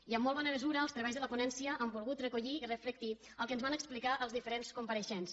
i en molt bona mesura els treballs de la ponència han volgut recollir i reflectir el que ens van explicar els diferents compareixents